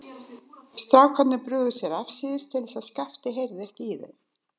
Strákarnir brugðu sér afsíðis til að Skapti heyrði ekki í þeim.